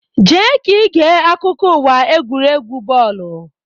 Jee ka ige akụkọ uwa egwuregwu bọọlụ!